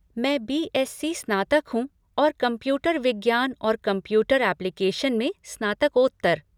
मैं बी.एस.सी. स्नातक हूँ और कंप्यूटर विज्ञान और कंप्यूटर एप्लीकेशन में स्नातकोत्तर।